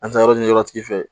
An taa yɔrɔ ɲiniyɔrɔ tigi fɛ